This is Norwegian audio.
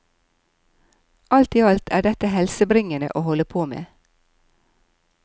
Alt i alt er dette helsebringende å holde på med.